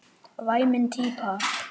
Væmin típa.